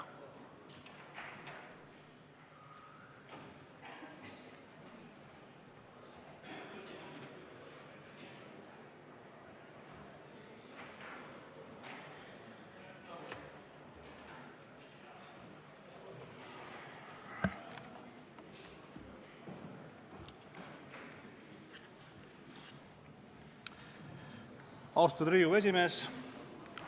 Austatud Riigikogu esimees!